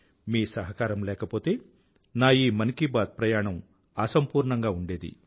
మీ సహకారం లేకపోతే నా ఈ మన్ కీ బాత్ ప్రయాణం అసంపూర్ణంగా ఉండేది